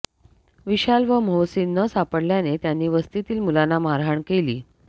विशाल व मोहसीन न सापडल्याने त्यांनी वस्तीतील मुलांना मारहाण केली़